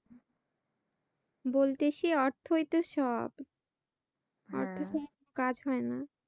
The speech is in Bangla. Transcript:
বলতেছি অর্থই তো সব অর্থ ছাড়া কোন কাজ হয়না।